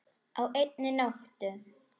Á einni nóttu!